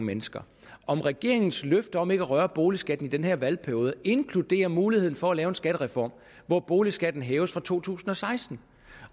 mennesker om regeringens løfte om ikke at røre boligskatten i den her valgperiode inkluderer muligheden for at lave en skattereform hvor boligskatten hæves fra to tusind og seksten